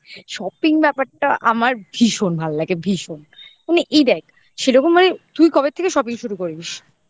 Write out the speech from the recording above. shopping ব্যাপারটা আমার ভীষণ ভালো লাগে ভীষণ মানে এই দেখ সেরকম মানে তুই কবে থেকে shopping শুরু করিস